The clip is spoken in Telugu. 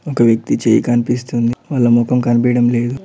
ఒక వ్యక్తి చెయ్ కనిపిస్తుంది వాళ్ళ ముఖం కనిపిడం లేదు.